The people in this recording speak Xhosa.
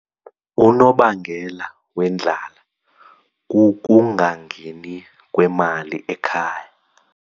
Unobangela wendlala kukungangeni kwemali ekhaya.